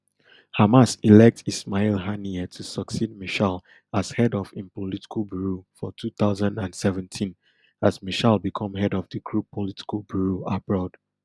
hamas elect ismail haniyeh to succeed meshaal as head of im political bureau for two thousand and seventeen as meshaal become head of di group political bureau abroad